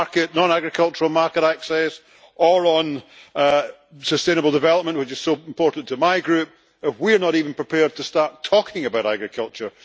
non agricultural market access or on sustainable development, which is so important to my group, if we are not even prepared to start talking about agriculture?